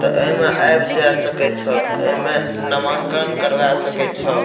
त ए में अब जा सकै छ एमें नामांकन करवा सकै छ।